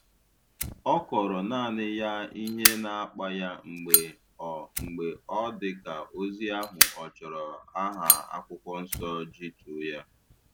Ọ kọọrọ naanị ya ihe na-akpa ya mgbe ọ mgbe ọ dị ka ozi ahụ ọ chọrọ aha akwụkwọ Nsọ ijituo ya